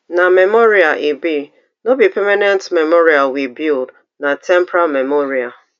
na memorial e be no be permanent memorial we build na temporary memorial